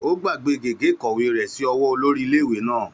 Ó gbàgbé gègé ìkọ̀wé rẹ̀ sí ọwọ́ olórí iléèwé náà